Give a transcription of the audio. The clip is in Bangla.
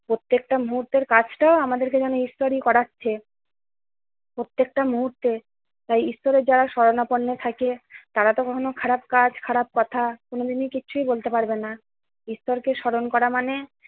প্রত্যেকটা মুহূর্তের কাজটা যেন আমাদেরকে যেন ঈশ্বরই করাচ্ছে। প্রত্যেকটা মুহূর্তে তাই ঈশ্বরের যারা শরণাপন্ন থাকে তারা তো কখনো খারাপ কাজ খারাপ কথা কোনদিন কিছুই বলতে পারবে না। ঈশ্বরকে স্মরণ করা মানে